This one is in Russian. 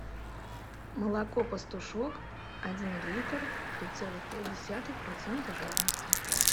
молоко пастушок один литр три целых пять десятых процента жирности